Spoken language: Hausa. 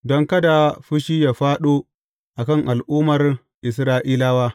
Don kada fushi yă fāɗo a kan al’ummar Isra’ilawa.